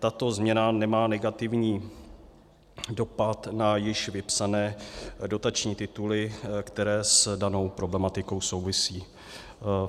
Tato změna nemá negativní dopad na již vypsané dotační tituly, které s danou problematikou souvisí.